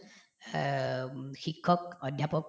এহ্ উম শিক্ষক অধ্যাপক